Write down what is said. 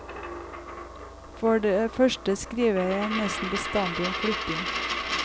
For det første skriver jeg nesten bestandig om flytting.